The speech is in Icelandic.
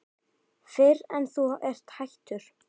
Fyrr en þú ert hættur.